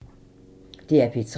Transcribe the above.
DR P3